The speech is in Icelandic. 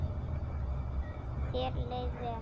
Þér leið vel.